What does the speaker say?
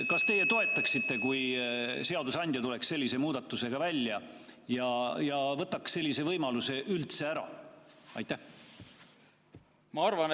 Kas teie toetaksite seda, kui seadusandja tuleks sellise muudatusega välja ja võtaks sellise võimaluse üldse ära?